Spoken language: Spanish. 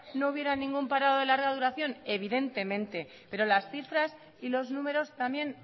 no hubiera ningún parado de larga duración evidentemente pero las cifras y los números también